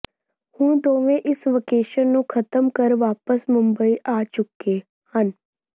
ਹੁਣ ਦੋਵੇਂ ਇਸ ਵਕੇਸ਼ਨ ਨੂੰ ਖਤਮ ਕਰ ਵਾਪਸ ਮੁੰਬਈ ਆ ਚੁੱਕੇ ਹਨ